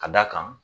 Ka d'a kan